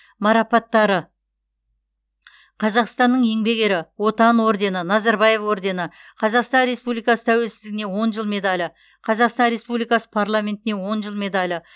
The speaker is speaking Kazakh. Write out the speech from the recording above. марапаттары қазақстанның еңбек ері отан ордені назарбаев ордені қазақстан республикасы тәуелсіздігіне он жыл медалі қазақстан республикасы парламентіне он жыл медалі